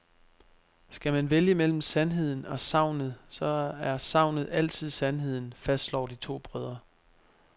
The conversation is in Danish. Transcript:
Skal man vælge mellem sandheden og sagnet, så er sagnet altid sandheden, fastslår de to brødre.